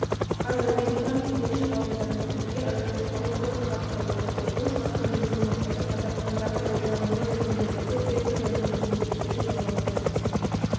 қаз американың жетекші ғалымдарымен бірге агротехнологиялық хаб құрылып жатыр бұл хабтың негізгі мақсаты қазақстандағы пайдаланылмай жатқан жерлерді фермерлердің өнімділіктерін жоғарылату